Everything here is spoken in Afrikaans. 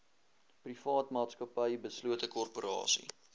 privaatmaatsappy beslote korporasie